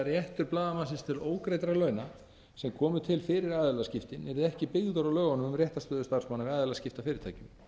réttur blaðamannsins til ógreiddra launa sem komu til fyrir aðilaskiptin yrði ekki byggður á lögunum um réttarstöðu starfsmanna við aðilaskipti að fyrirtækjum